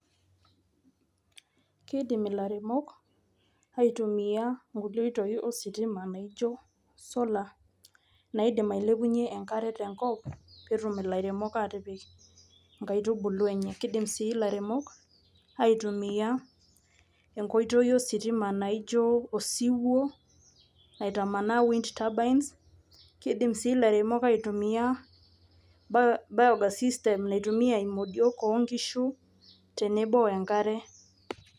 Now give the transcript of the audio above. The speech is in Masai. Kidim ilaremok aitumia nkulie oitoi ositima naijo solar, naidim ailepunye enkare tenkop, petum ilairemok atipik nkaitubulu enye. Kidim si ilaremok aitumia enkoitoi ositima naijo osiwuo, aitamanaa winds turbines, kidim si ilairemok aitumia biogas system naitumia imodiok onkishu, tenebo enkare.